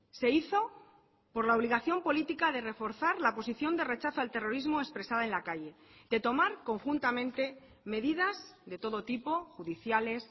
se hizo por la obligación política de reforzar la posición de rechazo al terrorismo expresada en la calle de tomar conjuntamente medidas de todo tipo judiciales